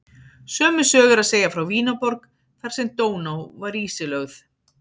Sömu sögu er að segja frá Vínarborg þar sem Dóná var ísilögð.